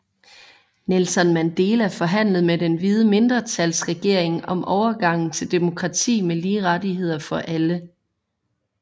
Nelson Mandela forhandlede med den hvide mindretalsregering om overgangen til demokrati med lige rettigheder for alle